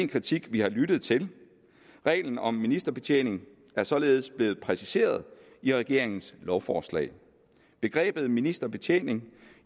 kritik vi har lyttet til reglen om ministerbetjening er således blevet præciseret i regeringens lovforslag begrebet ministerbetjening